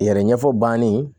Yɛrɛ ɲɛfɔ banin